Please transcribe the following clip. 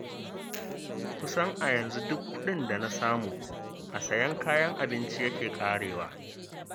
Kusan a yanzu duk kuɗin da na samu, a sayan kayan abinci yake ƙarewa.